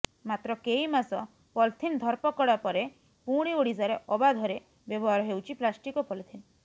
ମାତ୍ର କେଇମାସ ପଲିଥିନ ଧରପକଡ୍ ପରେ ପୁଣି ଓଡିଶାରେ ଅବାଧରେ ବ୍ୟବହାର ହେଉଛି ପ୍ଲାଷ୍ଟିକ ଓ ପଲିଥିନ